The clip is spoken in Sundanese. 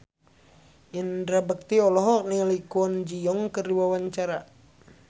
Indra Bekti olohok ningali Kwon Ji Yong keur diwawancara